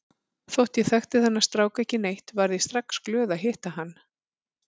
Þótt ég þekkti þennan strák ekki neitt varð ég strax glöð að hitta hann.